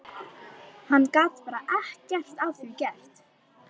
Hann gat bara ekkert að því gert.